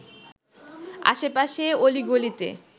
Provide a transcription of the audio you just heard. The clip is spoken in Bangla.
আশেপাশে অলি-গালিতে